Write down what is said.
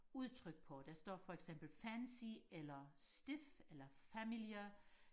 udtryk på der står for eksempel fancy eller stif eller family